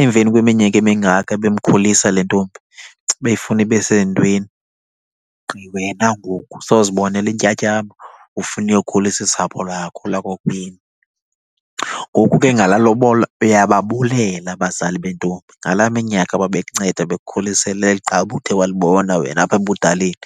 Emveni kweminyaka emingaka bemkhulisa le ntombi befuna ibe sezintweni, gqi wena ngoku sowuzibonela intyatyambo ufuna uyokhulisa usapho lwakho, lakokwenu. Ngoku ke ngalaa lobola uyababulela abazali bentombi ngalaa minyaka babekunceda bekukhulisela eli gqabi uthe walibona wena apha ebudaleni.